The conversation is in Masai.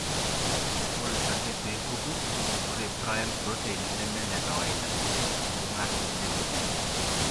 Ore ake peepuku, Ore prion protein neme nekawaida ,neibunga tenebo.